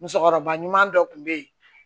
Musokɔrɔba ɲuman dɔ kun be yen